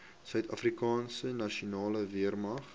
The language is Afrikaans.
suidafrikaanse nasionale weermag